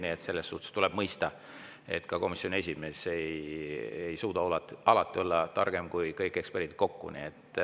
Nii et tuleb mõista, et ka komisjoni esimees ei suuda alati olla targem kui kõik eksperdid kokku.